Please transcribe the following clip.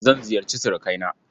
Zan ziyarci surukaina.